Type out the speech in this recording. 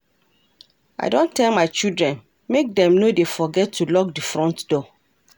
I don tell my children make dem no dey forget to lock the front door